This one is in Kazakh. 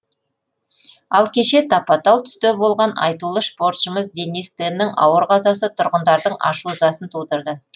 ал кеше тапа тал түсте болған айтулы спортшымыз денис теннің ауыр қазасы тұрғындардың ашу ызасын тудырды